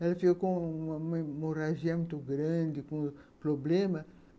Ela ficou com uma hemorragia muito grande, com problemas.